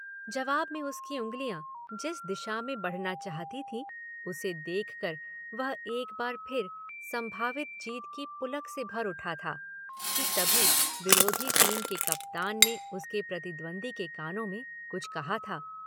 जवाब में उसकी उंगलियां जिस दिशा में बढ़ना चाहती थीं उसे देख कर वह एक बार फिर संभावित जीत की पुलक से भर उठा था कि तभी विरोधी टीम के कप्तान ने उसके प्रतिद्वंद्वी के कानों में कुछ कहा था।